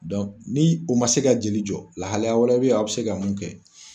ni o man se ka jeli jɔ lahaliya wɛrɛ bɛ ye aw bɛ se ka mun kɛ.